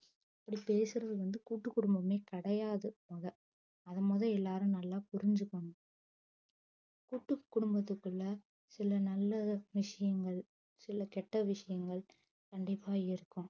அப்டி பேசுறது வந்து கூட்டு குடும்பமே கிடையாது மொத அத மொத எல்லாரும் நல்லா புரிஞ்சுக்கணும் கூட்டுக்குடும்பத்துகுள்ள சில நல்ல விஷயங்கள் சில கெட்ட விஷயங்கள் கண்டிப்பா இருக்கும்